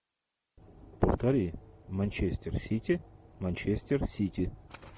повтори манчестер сити манчестер сити